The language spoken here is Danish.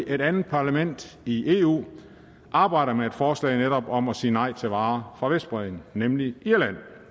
at et andet parlament i eu arbejder med et forslag om netop at sige nej til varer fra vestbredden nemlig irland